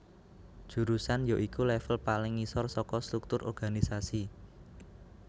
Jurusan ya iku level paling ngisor saka struktur organisasi